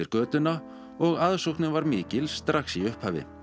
götuna og aðsóknin var mikil strax í upphafi